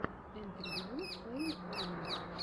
интервью фэйл арми